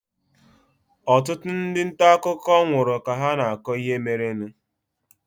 Ọtụtụ ndị nta akụkọ nwụrụ ka ha na-akọ ihe merenụ.